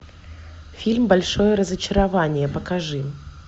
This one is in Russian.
фильм большое разочарование покажи